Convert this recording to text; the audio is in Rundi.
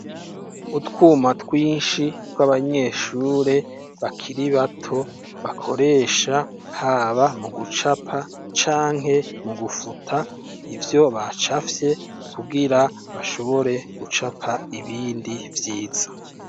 Utwuma twinshi tw'abanyeshure bakiri bato bakoresha, haba mu gucapa canke mu gufuta ivyo bacafye, kugira bashobore gucapa ibindi vyiza.